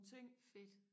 fedt